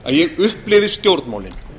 að ég upplifi stjórnmálin